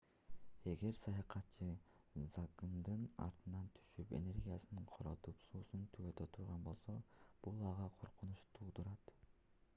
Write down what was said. эгер саякатчы закымдын артынан түшүп энергиясын коротуп суусун түгөтө турган болсо бул ага коркунуч туудурат